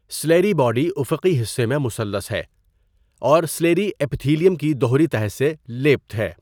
Suleri body افقی حصے میں مثلث ہے اور سلیری اپیتھیلیم کی دوہری تہہ سے لیپت ہے۔